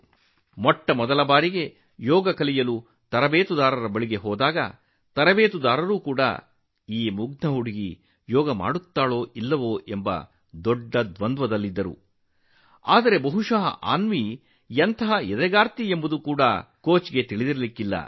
ಮೊಟ್ಟಮೊದಲ ಬಾರಿಗೆ ಯೋಗ ತರಬೇತುದಾರನ ಬಳಿಗೆ ಹೋದಾಗ ಈ ಮುಗ್ಧ ಹುಡುಗಿ ಯೋಗ ಮಾಡಲು ಸಾಧ್ಯವೇ ಎಂಬ ಪ್ರಶ್ನೆ ತರಬೇತುದಾರರಿಗೂ ಇತ್ತು ಆದರೆ ಆ ತರಬೇತುದಾರರಿಗೂ ಬಹುಶಃ ಅನ್ವಿಯ ದೃಢತೆ ಬಗ್ಗೆ ತಿಳಿದಿರಲಿಲ್ಲ